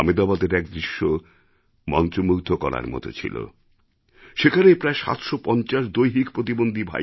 আমেদাবাদের এক দৃশ্য মন্ত্রমুগ্ধ করার মতো ছিল সেখানে প্রায় ৭৫০ দৈহিক প্রতিবন্ধী